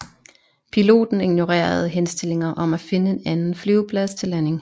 Piloten ignorerede henstillinger om at finde en anden flyveplads til landing